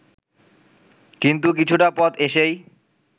কিন্তু কিছুটা পথ এসেই